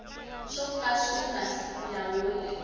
swo ka swi nga nyawuli